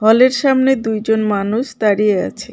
হলের সামনে দুইজন মানুষ দাঁড়িয়ে আছে.